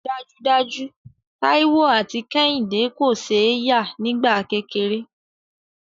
Dájúdájú, Táíwò àti Kẹ́hìndé kò ṣe é yà nígbà kékeré